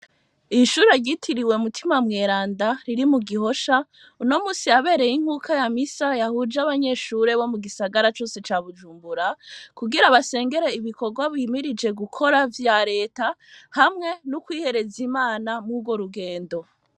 Iyishure ryitiriwe mutima mweranda riri mugihosha uyumusi habereye inkuka ya misa yahuje abanyeshure bo mugisagara cose ca bujumbura kugira basengere ibikorwa bimirije gukora vya reta hamwe n'ukwihereza Imana mw'urworugendo.